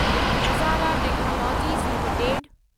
Nazara technologies limited